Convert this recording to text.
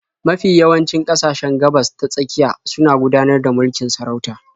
Mafi yawancin ƙasashen Gabas-ta-tsakiya suna gudanar da mulkin sarauta.